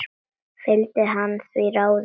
Fylgdi hann því ráði.